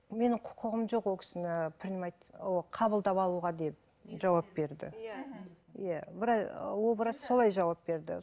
менің құқығым жоқ ол кісіне принимать ол қабылдап алуға деп жауап берді ол врач солай жауап берді